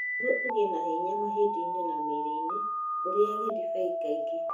Nĩguo ũgĩe na hinya mahĩndĩ-inĩ na mĩĩrĩ-inĩ, ũrĩage ndibei kaingĩ.